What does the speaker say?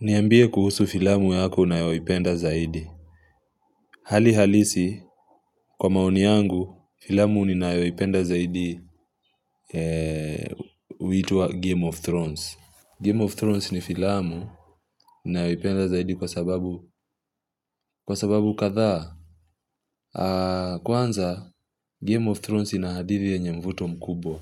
Niambie kuhusu filamu yako unayoipenda zaidi. Hali halisi kwa maoni yangu filamu ninayoipenda zaidi huitwa game of thrones. Game of thrones ni filamu nayoipenda zaidi kwa sababu kwa sababu kadhaa Kwanza game of thrones ina hadithi yenye mvuto mkubwa